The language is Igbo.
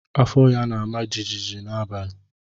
Afọ ya na-ama jijiji n'abalị.